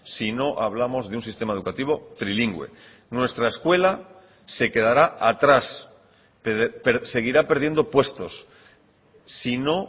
si no hablamos de un sistema educativo trilingüe nuestra escuela se quedará atrás seguirá perdiendo puestos si no